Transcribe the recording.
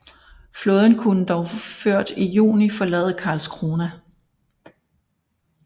Flåden kunne dog ført i juni forlade Karlskrona